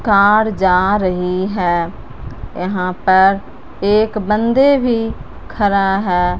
Car जा रही है यहां पर एक बंदे भी खरा है।